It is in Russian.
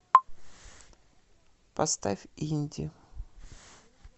поставь инди